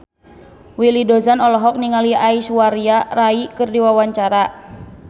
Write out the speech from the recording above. Willy Dozan olohok ningali Aishwarya Rai keur diwawancara